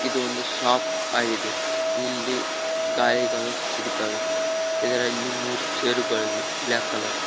ಇದು ಒಂದು ಶಾಪ್ ಆಗಿದೆ ಇಲ್ಲಿ ಗಾಳಿಗಳು ಸಿಗುತ್ತವೆ ಇದರಲ್ಲಿ ಮೂರು ಚೇರುಗಳಿವೆ ಬ್ಲಾಕ್ ಕಲರ್ .